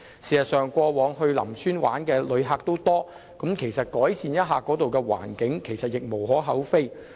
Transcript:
事實上，過往到林村遊玩的旅客眾多，改善一下當地的環境是無可厚非的。